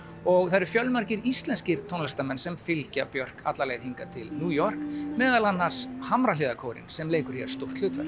og það eru fjölmargir íslenskir tónlistarmenn sem fylgja Björk alla leið hingað til New York meðal annars Hamrahlíðarkórinn sem leikur hér stórt hlutverk